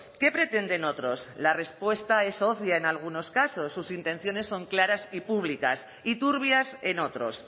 qué pretenden otros la respuesta es obvia en algunos casos sus intenciones son claras y públicas y turbias en otros